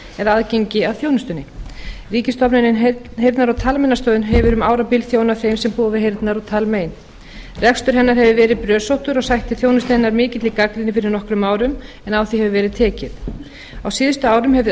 eða aðgengi að þjónustunni ríkisstofnunin heyrnar og talmeinastöðin hefur um árabil þjónað þeim sem búa við heyrnar og talmein rekstur hennar hefur verið brösóttur og sætti þjónusta hennar mikilli gagnrýni fyrir nokkrum árum en á því hefur verið tekið á síðustu árum hefur